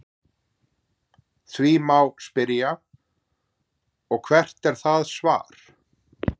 Þá má spyrja: Og hvert er það svar?.